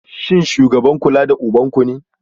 Shin shugaban kula ubanku ne?